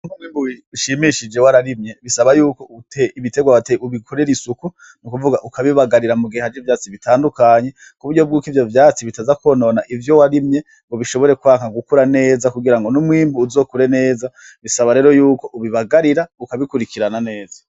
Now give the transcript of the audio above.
Kugira uronke umwimbu ushimishije wararimye bisaba yuko ibiterwa wateye ubikorera isuku, ni ukuvuga ukabibagarira mugihe haje ivyatsi bitandukanye, kuburyo bwuko ivyo vyatsi bitaza kwonona ivyo warimye ngo bishobore kwanka gukura neza kugira ngo n'umwimbu uzokure neza, bisaba rero yuko ubibagarira ukabikurikirana neza.